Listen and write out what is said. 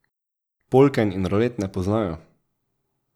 Polken in rolet ne poznajo.